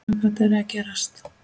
Hvað gat verið að gerast?